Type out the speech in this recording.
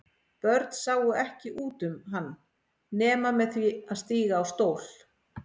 Börn sáu ekki út um hann nema með því að stíga á stól.